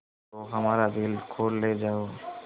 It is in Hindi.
तो हमारा बैल खोल ले जाओ